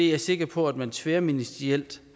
jeg sikker på at man tværministerielt